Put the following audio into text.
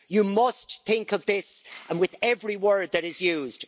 You must think of this with every word that is used.